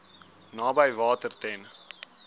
naby water ten